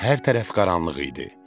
Hər tərəf qaranlıq idi.